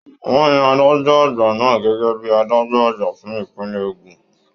Wọn yan adájọ àgbà náà gẹgẹ bíi adájọ àgbà fún ipinlẹ Ogun.